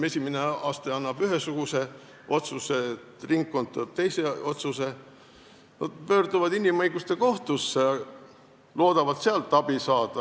Esimene aste teeb ühe otsuse, ringkonnakohus teeb teise otsuse, siis nad pöörduvad inimõiguste kohtusse, loodavad sealt abi saada.